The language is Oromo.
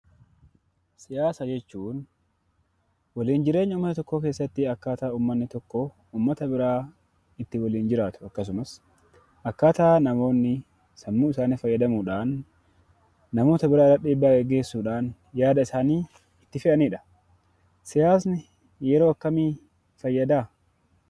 Siyaasa jechuun; walin jireenya mana tokkoo keessatti akkaata uummaanni tokkoo uummaata biraa ittin jiraatu, akkasumas akkaata namoonni sammuu isaanii faayyadamuudhaan namoota biraa irraatti dhiibbaa geggeessuudhaan yaada isaanii itti fe'anidha. Siyaasni yeroo akkami faayyadaa?